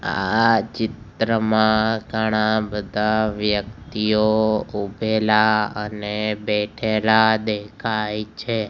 આ ચિત્રમાં ઘણા બધા વ્યક્તિઓ ઉભેલા અને બેઠેલા દેખાય છે.